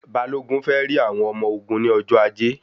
Balogun fẹ rí àwọn ọmọ ogun ní ọjọ ajé